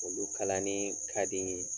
Olu kalanni ka di